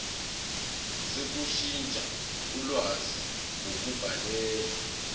sokushintsha ulwazi ngokubhalela